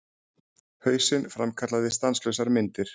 Hausinn framkallaði stanslausar myndir.